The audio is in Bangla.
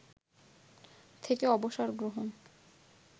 থেকে অবসর গ্রহণ